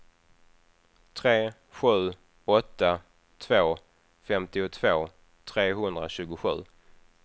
tre sju åtta två femtiotvå trehundratjugosju